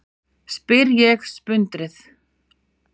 spyr ég sprundið.